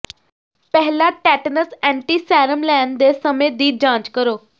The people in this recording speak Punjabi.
ਪਹਿਲਾਂ ਟੈਟਨਸ ਐਂਟੀਸੈਰਮ ਲੈਣ ਦੇ ਸਮੇਂ ਦੀ ਜਾਂਚ ਕਰੋ